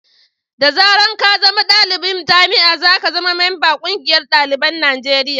da zaran ka zama dalibin jami'a, za ka zama mamban ƙungiyar dalibin Najeriya